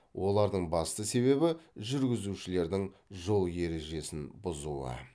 олардың басты себебі жүргізушілердің жол ережесін бұзуы